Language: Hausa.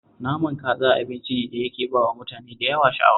Naman kaza abinci ne da yake ba wa mutane da yawa sha'awa